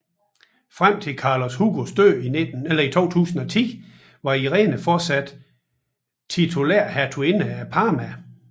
Frem til Carlos Hugos død i 2010 var Irene fortsat titulær hertuginde af Parma